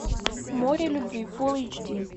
море любви фулл эйч ди